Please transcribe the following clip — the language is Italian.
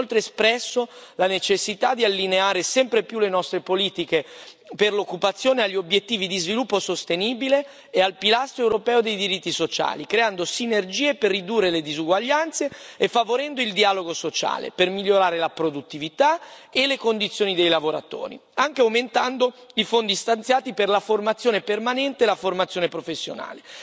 Abbiamo inoltre espresso la necessità di allineare sempre più le nostre politiche per l'occupazione agli obiettivi di sviluppo sostenibile e al pilastro europeo dei diritti sociali creando sinergie per ridurre le disuguaglianze e favorendo il dialogo sociale, per migliorare la produttività e le condizioni dei lavoratori, anche aumentando i fondi stanziati per la formazione permanente e la formazione professionale.